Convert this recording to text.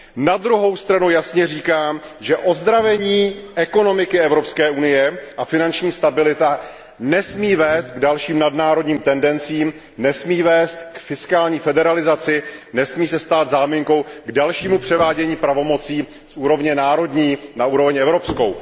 Na druhou stranu jasně říkám, že ozdravení ekonomiky Evropské unie a finanční stabilita nesmí vést k dalším nadnárodním tendencím, nesmí vést k fiskální federalizaci, nesmí se stát záminkou k dalšímu převádění pravomocí z úrovně národní na úroveň evropskou.